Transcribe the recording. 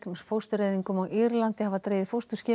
fóstureyðingum á Írlandi hafa dregið